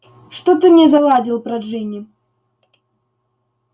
что ты мне заладил про джинни